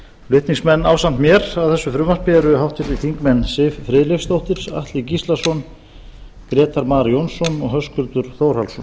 flutningsmenn ásamt mér að þessu frumvarpi eru háttvirtur þingmaður siv friðleifsdóttir atli gíslason grétar mar jónsson og höskuldur þórhallsson